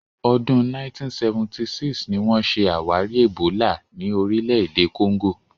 Ọdún 1976 ni wọ́n ṣe àwárí ẹ̀bólà ní orílẹ̀-èdè Congo.